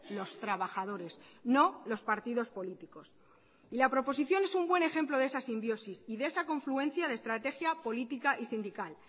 los trabajadores no los partidos políticos la proposición es un buen ejemplo de esa simbiosis y de esa confluencia de estrategia política y sindical